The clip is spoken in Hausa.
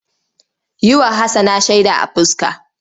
Yi wa Hassana shaida a fuska!